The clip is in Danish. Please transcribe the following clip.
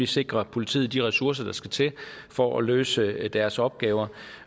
sikrer politiet de ressourcer der skal til for at løse deres opgaver